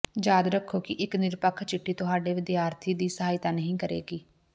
ਯਾਦ ਰੱਖੋ ਕਿ ਇੱਕ ਨਿਰਪੱਖ ਚਿੱਠੀ ਤੁਹਾਡੇ ਵਿਦਿਆਰਥੀ ਦੀ ਸਹਾਇਤਾ ਨਹੀਂ ਕਰੇਗੀ